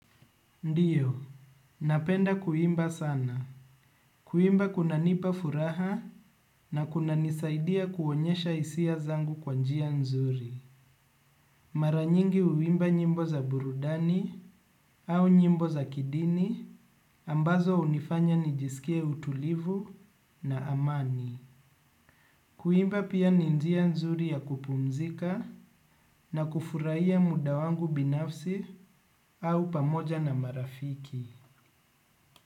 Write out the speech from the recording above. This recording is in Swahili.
Ndiyo, napenda kuimba sana. Kuimba kunanipa furaha na kuna nisaidia kuonyesha isia zangu kwanjia nzuri. Maranyingi uimba nyimbo za burudani au nyimbo za kidini ambazo unifanya nijisikie utulivu na amani. Kuimba pia ni njia nzuri ya kupumzika na kufurahia muda wangu binafsi au pamoja na marafiki.